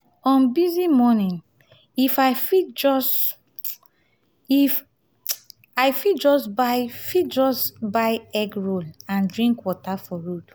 on busy mornings if i fit just if i fit just fit just buy buy egg roll and drink water for road.